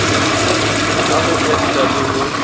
a ho enta le ho